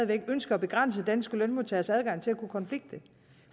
der ønske at begrænse danske lønmodtageres adgang til at kunne konflikte